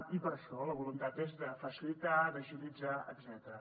i per això la voluntat és de facilitar d’agilitzar etcètera